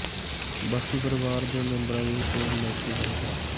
ਬਾਕੀ ਪਰਿਵਾਰ ਦੇ ਮੈਂਬਰਾਂ ਦੀ ਰਿਪੋਰਟ ਨੈਗੇਟਿਵ ਆਈ ਹੈ